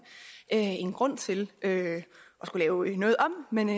en grund til at skulle lave noget om men